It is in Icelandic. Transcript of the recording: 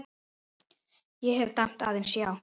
Ég hef dæmt aðeins já.